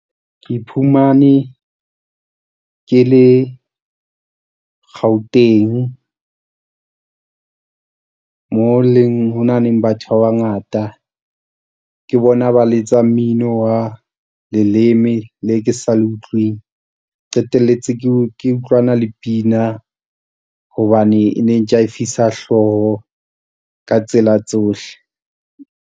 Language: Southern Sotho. Ke iphumane ke le Gauteng, mo leng hona leng ho na le batho ba bangata. Ke bona ba letsa mmino wa leleme le ke sa le utlweng, qetelletse ke ke utlwana le pina hobane e ne ntjaefisa hlooho ka tsela tsohle.